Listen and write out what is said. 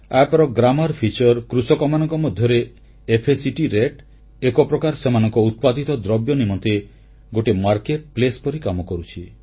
app ର ବ୍ୟାକରଣ ବୈଷିଷ୍ଟ୍ୟ କୃଷକମାନଙ୍କ ମଧ୍ୟରେ ଫ୍ୟାକ୍ଟ ରାତେ ର ଏକପ୍ରକାରେ ସେମାନଙ୍କ ଉତ୍ପାଦିତ ଦ୍ରବ୍ୟ ନିମନ୍ତେ ଗୋଟିଏ ବଜାର ସ୍ଥଳୀ ପରି କାମ କରୁଛି